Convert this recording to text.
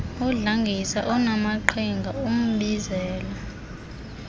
udlangisa onaamaqhinga umbizela